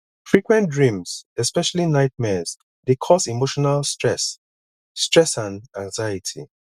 frequent dreams especially nightmares dey cause emotional stress stress and anxiety